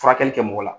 Furakɛli kɛ mɔgɔ la